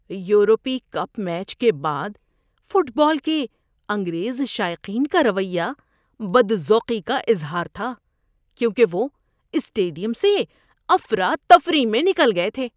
یورپی cup match کے بعد فٹ بال کے انگریز شائقین کا رویہ بدذوقی کا اظہار تھا کیونکہ وہ اسٹیڈیم سے افراتفری میں نکل گئے تھے۔